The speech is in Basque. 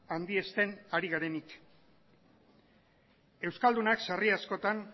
handiesten ari garenik euskaldunak sarri askotan